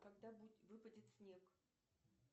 когда выпадет снег